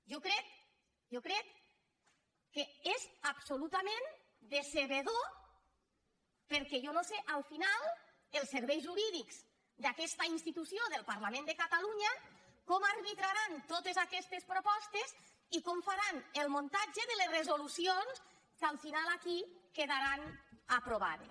jo crec jo crec que és absolutament decebedor perquè jo no sé al final els serveis jurídics d’aquesta institució del parlament de catalunya com arbitraran totes aquestes propostes i com faran el muntatge de les resolucions que al final aquí quedaran aprovades